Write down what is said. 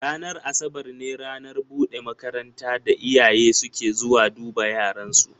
Ranar Asabar ne ranar buɗe makaranta da iyaye suke zuwa duba yaran su.